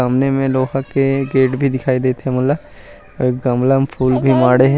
सामने में लोहा के गेट भी दिखाई देत हे हमन ला गमला में फुल भी माढ़े हे।